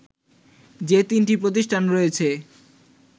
যে তিনটি প্রতিষ্ঠান রয়েছে